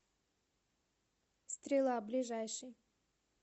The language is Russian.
стрела ближайший